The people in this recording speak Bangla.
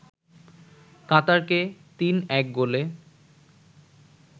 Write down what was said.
কাতারকে ৩-১ গোলে